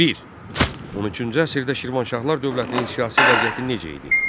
Bir: 13-cü əsrdə Şirvanşahlar dövlətinin siyasi vəziyyəti necə idi?